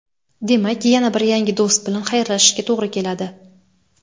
demak yana bir yangi do‘st bilan xayrlashishga to‘g‘ri keladi.